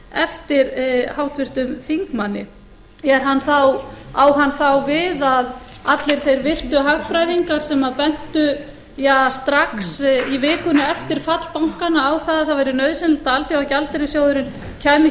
eftir háttvirtum þingmanni á hann þá við að allir þeir virtu hagfræðingar sem bentu strax í vikunni eftir fall bankanna á að það væri nauðsynlegt að alþjóðagjaldeyrissjóðurinn kæmi